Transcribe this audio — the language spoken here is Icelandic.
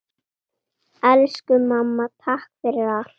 Elsku mamma, takk fyrir allt.